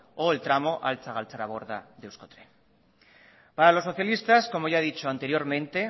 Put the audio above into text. o el tramo a galtzaraborda de euskotren para los socialistas como ya he dicho anteriormente